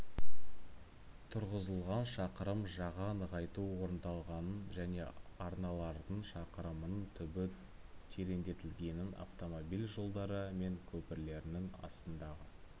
тұрғызылған шақырым жаға нығайту орындалғанын және арналардың шақырымының түбі тереңдетілгенін автомобиль жолдары мен көпірлерінің астындағы